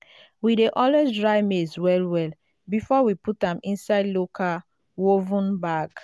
we dey always dry maize well well before we put am inside local woven bag.